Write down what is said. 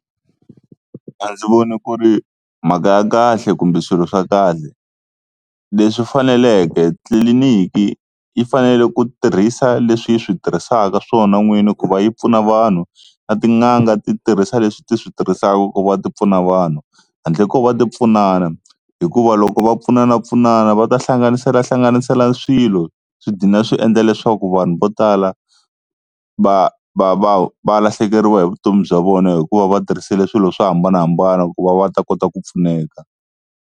A ndzi voni ku ri mhaka ya kahle kumbe swilo swa kahle leswi faneleke tliliniki yi fanele ku tirhisa leswi yi swi tirhisaka swona n'wini ku va yi pfuna vanhu, na tin'anga ti tirhisa leswi ti swi tirhisaka ku va ti pfuna vanhu handle ko va ti pfunana. Hikuva loko va pfunanapfunana va ta hlanganiselahlanganisela swilo swi dlina swi endla leswaku vanhu vo tala va va va va lahlekeriwa hi vutomi bya vona, hikuva va tirhisile swilo swo hambanahambana ku va va ta kota ku pfuneka.